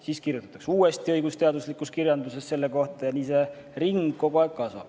Siis kirjutatakse uuesti õigusteaduslikus kirjanduses selle kohta ja nii see ring kogu aeg kasvab.